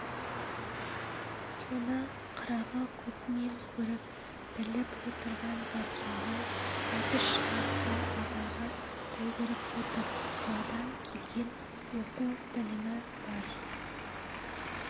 соны қырағы көзімен көріп біліп отырған дәркембай әбіш арқылы абайға білдіріп отыр қаладан келген оқу-білімі бар